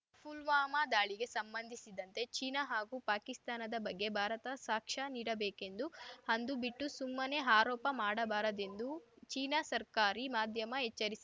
ಪುಲ್ವಾಮಾ ದಾಳಿಗೆ ಸಂಬಂಧಿಸಿದಂತೆ ಚೀನಾ ಹಾಗೂ ಪಾಕಿಸ್ತಾನದ ಬಗ್ಗೆ ಭಾರತ ಸಾಕ್ಷ್ಯ ನೀಡಬೇಕೆಂದು ಅದು ಬಿಟ್ಟು ಸುಮ್ಮನೇ ಆರೋಪ ಮಾಡಬಾರದೆಂದು ಚೀನಾ ಸರ್ಕಾರಿ ಮಾಧ್ಯಮ ಎಚ್ಚರಿ